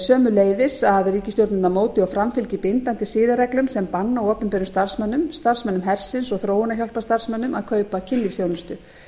sömuleiðis að ríkisstjórnirnar móti og framfylgi bindandi siðareglum sem banna opinberum starfsmönnum starfsmönnum hersins og þróunarhjálparstarfsmönnum að kaupa kynlífsþjónustu